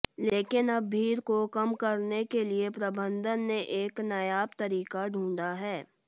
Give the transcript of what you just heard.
लेकिन अब भीड़ को कम करने के लिए प्रबंधन ने एक नायाब तरीका ढूंढा है